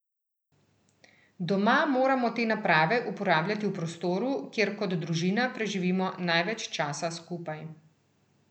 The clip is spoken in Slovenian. Doma moramo te naprave uporabljati v prostoru, kjer kot družina preživimo največ časa skupaj.